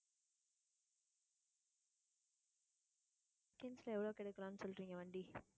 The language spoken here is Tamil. seconds ல எவ்ளோக்கு எடுக்கலான்னு சொல்றீங்க, வண்டி